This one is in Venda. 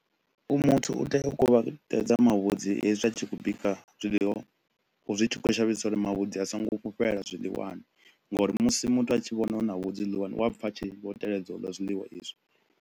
U muthu u tea u kuvhatedza mavhudzi hezwi u tshi khou bika zwiḽiwa zwi tshi khou shavhisa uri mavhudzi a so ngo fhufhela zwiḽiwani ngauri musi muthu a tshi vhona hu na vhudzi zwiḽiwani u a pfa a tshi vho teledza u ḽa zwiḽiwa hezwi